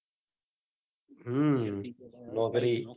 હમ નોકરી